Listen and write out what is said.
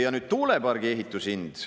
Ja nüüd tuulepargi ehitushind.